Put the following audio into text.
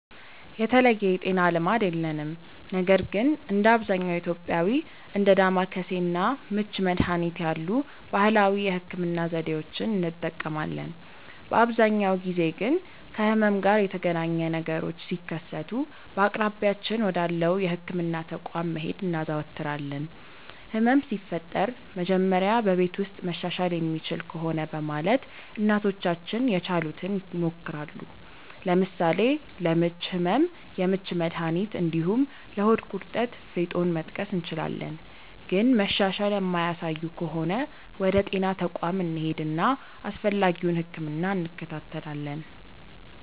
የተለየ የጤና ልማድ የለንም ነገር ግን እንደ አብዛኛው ኢትዮጵያዊ እንደ ዳማከሴ እና ምች መድሀኒት ያሉ ባህላዊ የህክምና ዘዴዎችን እንጠቀማለን። በአብዛኛው ጊዜ ግን ከህመም ጋር የተገናኘ ነገሮች ሲከሰቱ በአቅራቢያችን ወዳለው የህክምና ተቋም መሄድ እናዘወትራለን። ህመም ሲፈጠር መጀመሪያ በቤት ውስጥ መሻሻል የሚችል ከሆነ በማለት እናቶቻችን የቻሉትን ይሞክራሉ። ለምሳሌ ለምች ህመም የምች መድሀኒት እንዲሁም ለሆድ ቁርጠት ፌጦን መጥቀስ እንችላለን። ግን መሻሻል የማያሳዩ ከሆነ ወደ ጤና ተቋም እንሄድና አስፈላጊውን ህክምና እንከታተላለን።